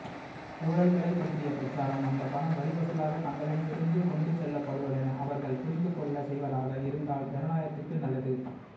ஊழல்களைப்பற்றிய பிரச்சாரம் அந்தப்பணம் வரிவசூலாகத் தங்களிடமிருந்து கொண்டுசெல்லப்படுவதென அவர்கள் புரிந்துகொள்ளச்செய்வதாக இருந்தால் ஜனநாயகத்துக்கு நல்லது